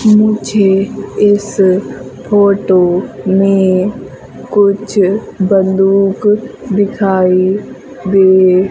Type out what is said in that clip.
मुझे इस फोटो में कुछ बंदूक दिखाई दे--